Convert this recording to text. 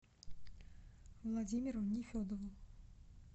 владимиру нефедову